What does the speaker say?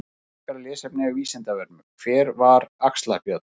Frekara lesefni á Vísindavefnum: Hver var Axlar-Björn?